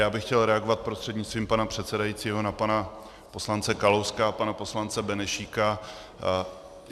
Já bych chtěl reagovat prostřednictvím pana předsedajícího na pana poslance Kalouska a pana poslance Benešíka.